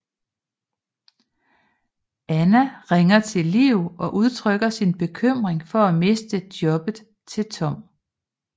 Anna ringer til Liv og udtrykker sin bekymring for at miste jobbet til Tom